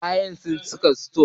Ƙaya suna cikin sito.